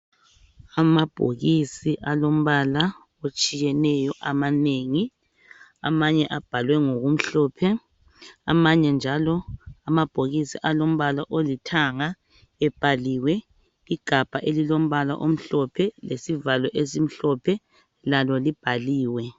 Amabhokisi alombala otshiyeneyo amanengi amanye abhalwe ngokumhlophe amanye njalo amabhokisi alombala olithanga ebhaliwe igabha elilombala omhlophe lesivalo esimhlophe lalo libhaliwe